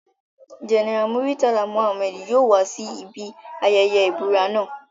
General Muritala Mohammed yoo wa si ibi ayẹyẹ ibura naa